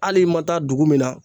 Hali i ma taa dugu min na